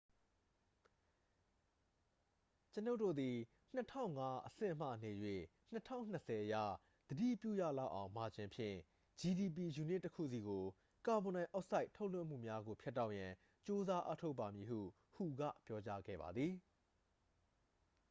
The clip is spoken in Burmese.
"""ကျွန်ုပ်တို့သည် ၂၀၀၅ အဆင့်မှနေ၍ ၂၀၂၀ အရ သတိပြုရလောက်သောမာဂျင်ဖြင့် gdp ယူနစ်တစ်ခုစီ၏ ကာဗွန်ဒိုင်အောက်ဆိုက် ထုတ်လွှတ်မှုများကို ဖြတ်တောက်ရန် ကြိုးစားအားထုတ်ပါမည်" ဟု hu က ပြောကြားခဲ့ပါသည်။